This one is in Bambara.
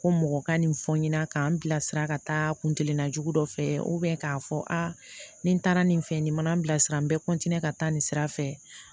Ko mɔgɔ ka nin fɔ n ɲɛna k'an bilasira ka taa kun kelen na jugu dɔ fɛ k'a fɔ a nin taara nin fɛ nin mana n bila sira n bɛ ka taa nin sira fɛ